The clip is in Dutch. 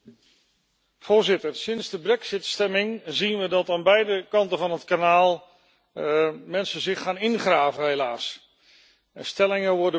Voorzitter, sinds de brexit stemming zien we dat aan beide kanten van het kanaal mensen zich gaan ingraven, helaas. Stellingen worden betrokken.